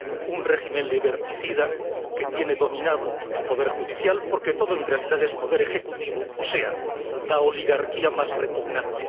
un régimen liberticida que tiene dominado el poder judicial, porque todo en realidad es poder ejecutivo, o sea, la oligarquía más repugnante.